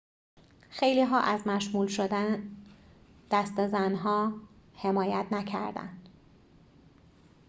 خیلی‌ها از مشمول شدن دسته زن‌ها حمایت نکردند